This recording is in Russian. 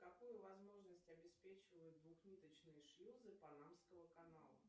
какую возможность обеспечивают двухниточные шлюзы панамского канала